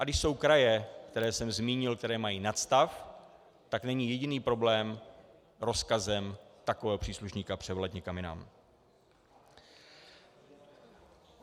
A když jsou kraje, které jsem zmínil, které mají nadstav, tak není jediný problém rozkazem takového příslušníka převelet někam jinam.